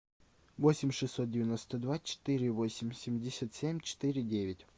восемь шестьсот девяносто два четыре восемь семьдесят семь четыре девять